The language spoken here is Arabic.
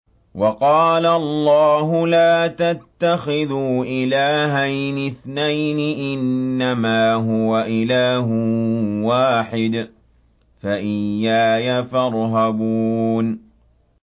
۞ وَقَالَ اللَّهُ لَا تَتَّخِذُوا إِلَٰهَيْنِ اثْنَيْنِ ۖ إِنَّمَا هُوَ إِلَٰهٌ وَاحِدٌ ۖ فَإِيَّايَ فَارْهَبُونِ